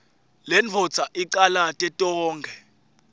lendvodza icalate tonkhe